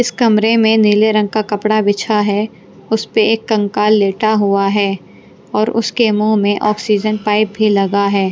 इस कमरे में नीले रंग का कपड़ा बिछा है उस पर एक कंकाल लेटा हुआ है और उसके मुंह में ऑक्सीजन पाइप भी लगा है।